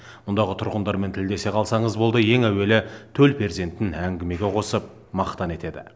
мұндағы тұрғындармен тілдесе қалсаңыз болды ең әуелі төл перзентін әңгімеге қосып мақтан етеді